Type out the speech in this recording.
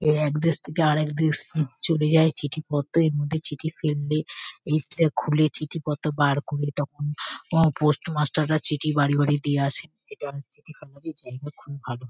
এরা এক দেশ থেকে আরেক দেশ উম চলে যায় চিঠিপত্র। এর মধ্যে চিঠি ফেললে এটা খুলে চিঠিপত্র বার করে তখন পোস্ট মাস্টার -রা চিঠি বাড়ি বাড়ি দিয়ে আসে। এটা চিঠি পাঠানোর জন্য খুব ভালো।